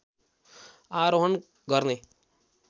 आरोहण गर्ने